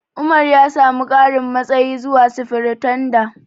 Umar ya samu ƙarin matsayi zuwa Sifiritanda.